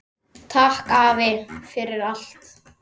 Takk afi, fyrir allt.